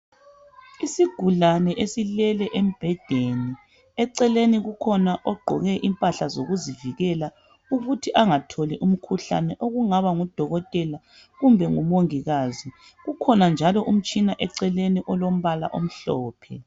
Isigulani esilele embhedeni eceleni kukhona ogqoke impahla zokuzivikele ukubana engatholi umkhuhlane okungaba ngudokotela kumbe ngumongikazi kukhona njalo umtshina oseceleni olombala omhlophe